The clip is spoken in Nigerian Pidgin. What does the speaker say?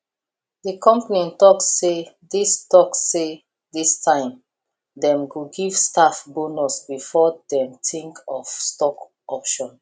the company talk say this talk say this time dem go give staff bonus before dem think of stock option